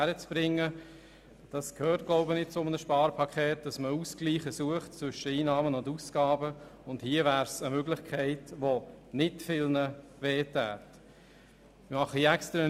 Meines Erachtens gehört es zu einem Sparpaket, Ausgleiche zwischen Einnahmen und Ausgaben zu suchen, und hier wäre eine Möglichkeit vorhanden, die nicht viele schmerzen würde.